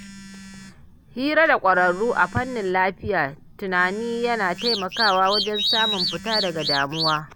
Hira da ƙwararru a fannin lafiyar tunani yana taimakawa wajen samun fita daga damuwa.